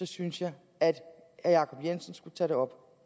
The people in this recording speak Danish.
synes jeg at herre jacob jensen skulle tage det op